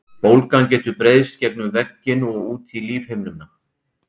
Bólgan getur breiðst gegnum vegginn og út í lífhimnuna.